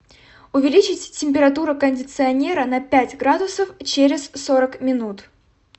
увеличить температуру кондиционера на пять градусов через сорок минут